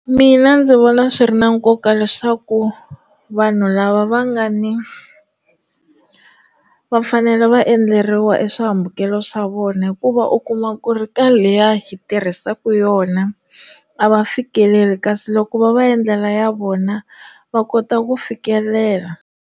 Mina ndzi vona swi ri na nkoka leswaku vanhu lava va nga ni vafanele va endleriwa eswihambukelo swa vona hikuva u kuma ku ri ka leya hi tirhisaka yona a va fikeleli kasi loko va va endlela ya vona va kota ku fikelela.